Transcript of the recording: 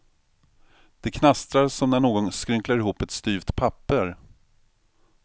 Det knastrar som när någon skrynklar ihop ett styvt papper.